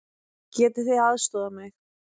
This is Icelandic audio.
Getið þið aðstoðað mig?